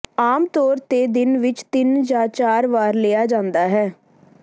ਆਮ ਤੌਰ ਤੇ ਦਿਨ ਵਿਚ ਤਿੰਨ ਜਾਂ ਚਾਰ ਵਾਰ ਲਿਆ ਜਾਂਦਾ ਹੈ